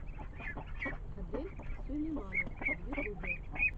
адель сулейманов в ютубе